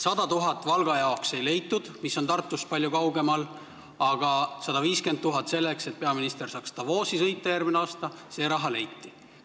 100 000 eurot Valga jaoks, mis on Tartust palju kaugemal, ei leitud, aga 150 000 selleks, et peaminister saaks Davosi sõita järgmine aasta – see raha leiti.